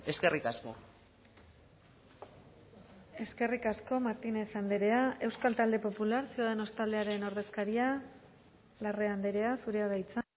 eskerrik asko eskerrik asko martínez andrea euskal talde popular ciudadanos taldearen ordezkaria larrea andrea zurea da hitza